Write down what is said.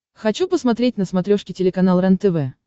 хочу посмотреть на смотрешке телеканал рентв